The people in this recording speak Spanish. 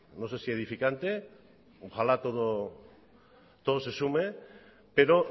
no sé si edificante ojalá todo se sume pero